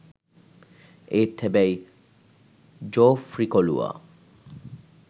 ඒත් හැබැයි ජෝෆ්රි කොලුවා